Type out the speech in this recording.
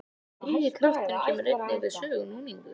Þriðji kraftur kemur einnig við sögu, núningur.